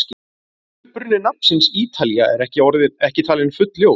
Uppruni nafnsins Ítalía er ekki talinn fullljós.